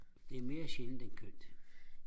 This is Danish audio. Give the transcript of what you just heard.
det er mere sjældent end kønt